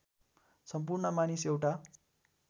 सम्पूर्ण मानिस एउटा